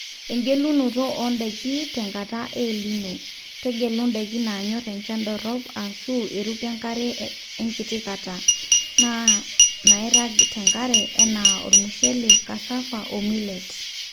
egelunoto o ndaiki tenkata e El nino, tegelu ndaiki naanyor enchan dorop ashu eruko enkare enkiti kata, naa nairag tenkare anaa olmushele, cassava o millet